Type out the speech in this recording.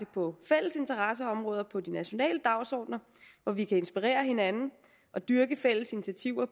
på fælles interesseområder og på de nationale dagsordener hvor vi kan inspirere hinanden og dyrke fælles initiativer